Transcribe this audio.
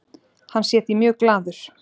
Hann sé því mjög glaður.